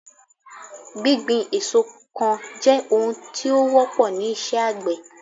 gbigbin èso kan je ohun tí ó wọ́pọ ni iṣẹ àgbè